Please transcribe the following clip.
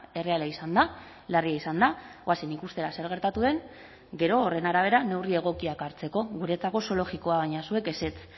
erreala izan da larria izan da goazen ikustera zer gertatu den gero horren arabera neurri egokiak hartzeko guretzako oso logikoa baina zuek ezetz